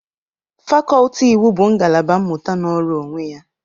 Fakọltị iwu bụ ngalaba mmụta nọrọ onwe ya.